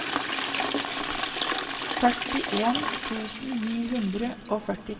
førtien tusen ni hundre og førtitre